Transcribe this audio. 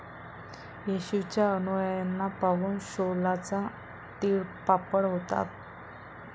येशूच्या अनुयायांना पाहून शौलाचा तीळपापड होत होता.